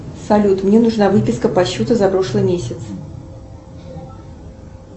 салют мне нужна выписка по счету за прошлый месяц